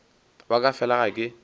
wa ka fela ga ke